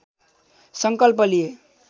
संकल्प लिए